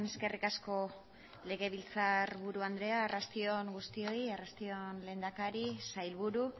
eskerrik asko legebiltzar buru andrea arrasti on guztioi arrasti on lehendakari sailburu